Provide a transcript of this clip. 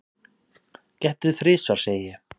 Gettu þrisvar, segi ég.